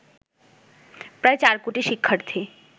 প্রায় ৪ কোটি শিক্ষার্থী